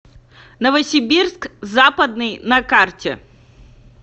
новосибирск западный на карте